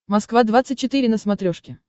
москва двадцать четыре на смотрешке